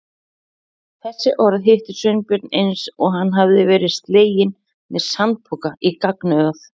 Þessi orð hittu Sveinbjörn eins og hann hefði verið sleginn með sandpoka í gagnaugað.